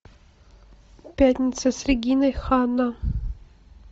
пятница с региной ханна